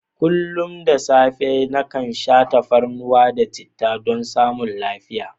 Kullum da safe nakan sha tafarnuwa da chittah don samun lafiya.